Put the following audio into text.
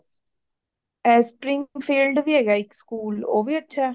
ਇਹ springfield ਵੀ ਹੇਗਾ ਇਕ school ਉਹ ਵੀ ਅੱਛਾ